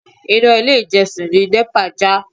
Iná ilé ìjọsìn ni NEPA já.